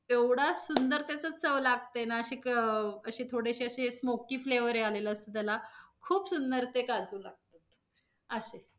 एवढा सुंदर त्याचा चव लागतंय ना, अशी क~ अशी थोडीशे अशे smoky flavour ही आलेला असतो त्याला. खूप सुंदर ते काजू लागतात असं आहे.